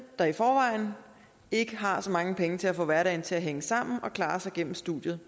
der i forvejen ikke har så mange penge til at få hverdagen til at hænge sammen at klare sig igennem studiet